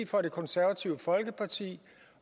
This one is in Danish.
for det konservative folkeparti